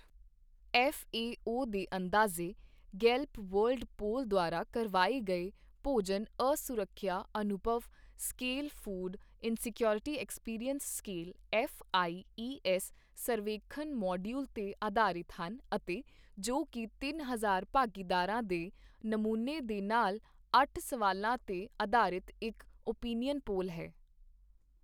FAO ਦੇ ਅੰਦਾਜ਼ੇ Gallup World Poll ਦੁਆਰਾ ਕਰਵਾਏ ਗਏ ਭੋਜਨ ਅਸੁਰੱਖਿਆ ਅਨੁਭਵ scale food insecurity experience scale FIES ਸਰਵੇਖਣ ਮੋਡੀਊਲ ਤੇ ਅਧਾਰਿਤ ਹਨ ਅਤੇ ਜੋ ਕੀ ਤਿੰਨ ਹਜ਼ਾਰ ਭਾਗੀਦਾਰਾਂ ਦੇ ਨਮੂਨੇ ਦੇ ਨਾਲ ਅੱਠ ਸਵਾਲਾਂ ਤੇ ਅਧਾਰਿਤ ਇੱਕ ਓਪੀਨੀਅਨ ਪੋਲ ਹੈ।